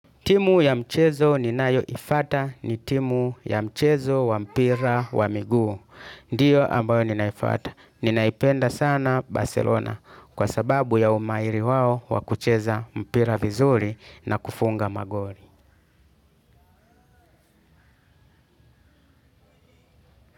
Timu ya mchezo ni nayo ifata ni timu ya mchezo wa mpira wa miguu. Ndiyo ambayo ninaifata. Ninaipenda sana Barcelona kwa sababu ya umairi wao wakucheza mpira vizuri na kufunga magori.